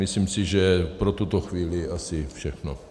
Myslím si, že pro tuto chvíli asi všechno.